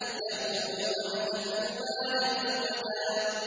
يَقُولُ أَهْلَكْتُ مَالًا لُّبَدًا